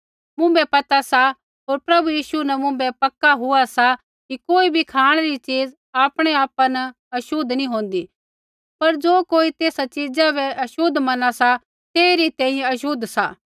मुँभै पता सा होर प्रभु यीशु न मुँभै पक्का हुआ सा कि कोई बी खाँणै री चीज़ आपणै आपा न छ़ोतली नी होंदी पर ज़ो कोई तेसा च़ीज़ा री छ़ोत मना सा तेइरी तैंईंयैं छ़ोत सा